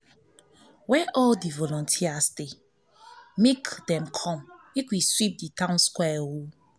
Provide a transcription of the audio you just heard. where all the volunteers dey make make dem come so we go sweep the town square